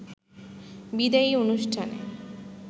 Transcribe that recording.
বিদায়ী অনুষ্ঠানে